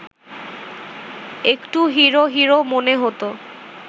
একটু hero hero মনে হতো